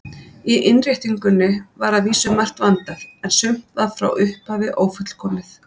Í innréttingunni var að vísu margt vandað, en sumt var frá upphafi ófullkomið.